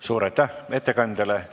Suur aitäh ettekandjale!